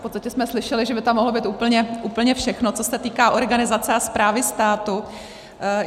V podstatě jsme slyšeli, že by tam mohlo být úplně všechno, co se týká organizace a správy státu.